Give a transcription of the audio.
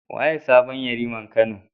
Waye sabon Yariman Kano?